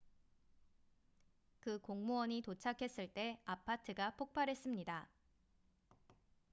그 공무원이 도착했을 때 아파트가 폭발했습니다